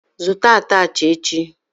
Zụta atachị echi!